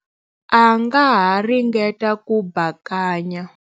A nga ha ringeta ku bakanya.